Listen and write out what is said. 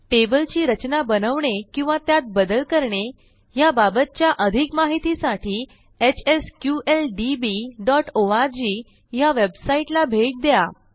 टेबलची रचना बनवणे किंवा त्यात बदल करणे ह्याबाबतच्या अधिक माहितीसाठी hsqldbओआरजी ह्या वेबसाईटला भेट द्या